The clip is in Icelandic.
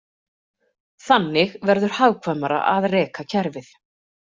Þannig verður hagkvæmara að reka kerfið.